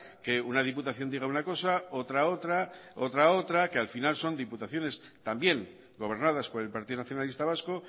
que una diputación diga una cosa otra otra otra otra que al final son diputaciones que también gobernadas por el partido nacionalista vasco